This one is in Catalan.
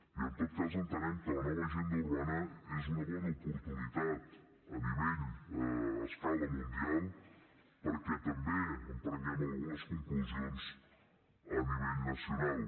i en tot cas entenem que la nova agenda urbana és una bona oportunitat a nivell a escala mundial perquè també en prenguem algunes conclusions a nivell nacional